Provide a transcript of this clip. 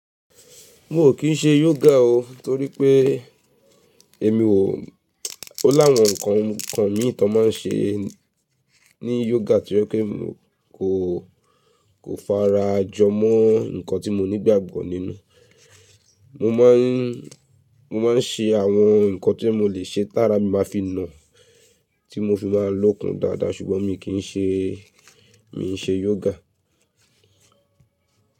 Mo ò kí ń ṣe yoga o torí pé èmi ò, ó láwọn nǹkan kan mi n tan máa ń ṣe ní yoga tí o je pe n kò, kò fara jọ mọ́ nǹkan tí mo nígbàgbọ́ nínú. Mo máa ń, mo máa ń ṣe àwọn nǹkan tí mo lè ṣe t'àrà mi máa fi na, tí mo fi máa lókun dáadáa ṣùgbọ́n mi kì ń ṣe, mi ò ṣe yoga.